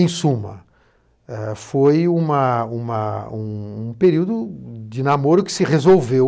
Em suma, ãh, foi uma, uma, um período de namoro que se resolveu.